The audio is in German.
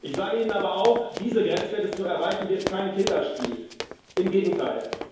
Ich sage Ihnen aber auch Diese Grenzwerte zu erreichen, wird kein Kinderspiel im Gegenteil.